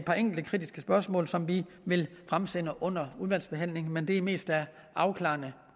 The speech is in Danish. par enkelte kritiske spørgsmål som vi vil stille under udvalgsbehandlingen men det er mest af afklarende